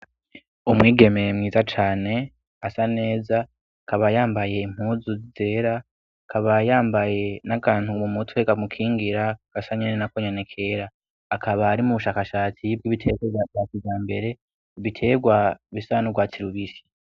Umwigeme mwiza cane asa neza, akaba yambaye impuzu zera, akaba yambaye n'akantu mu mutwe kamukingira gasa nyene nako nyene kera. Akaba ari mu bushakashatsi bw'ibiterwa vya kijambere, ibiterwa bisa n'urwatsi rubisi.